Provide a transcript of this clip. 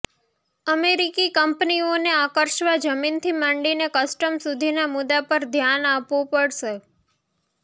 અમેરિકી કંપનીઓને આકર્ષવા જમીનથી માંડીને કસ્ટમ સુધીના મુદ્દા પર ધ્યાન આપવું પડશે